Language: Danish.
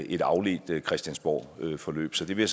et afledt christiansborgforløb så det vil